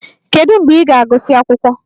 Kedu mgbe ị ga-agụsị akwụkwọ?